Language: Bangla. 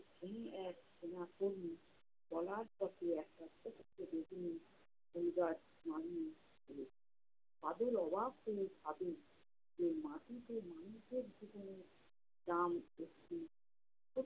কী এক সেনাপল্লী। চলার পথে একটা ছোট্ট বেগুনী বাদল অবাক হয়ে ভাবে যে মাটিতে মানুষের জীবনের দাম